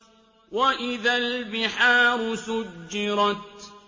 وَإِذَا الْبِحَارُ سُجِّرَتْ